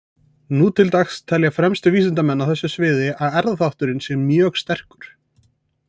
Nú til dags telja fremstu vísindamenn á þessu sviði að erfðaþátturinn sé mjög sterkur.